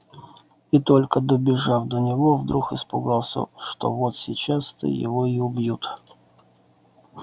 и только добежав до него вдруг испугался что вот сейчас-то его и убьют